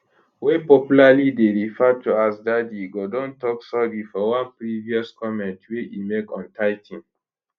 wey popularly dey referred to as daddy go don tok sorry for one previous comment wey e make on tithing